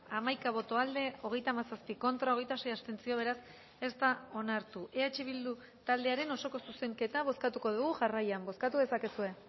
hamaika boto aldekoa hogeita hamazazpi contra hogeita sei abstentzio beraz ez da onartu eh bildu taldearen osoko zuzenketa bozkatuko dugu jarraian bozkatu dezakezue